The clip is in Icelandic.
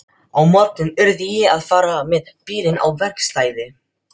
Á morgun yrði ég að fara með bílinn á verkstæði.